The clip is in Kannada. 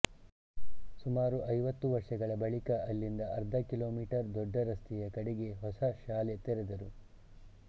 ಸುಮಾರು ಐವತ್ತು ವರ್ಷಗಳ ಬಳಿಕ ಅಲ್ಲಿಂದ ಅರ್ಧ ಕಿಲೋಮೀಟರ್ ದೊಡ್ಡ ರಸ್ತೆಯ ಕಡೆಗೆ ಹೊಸ ಶಾಲೆ ತೆರೆದರು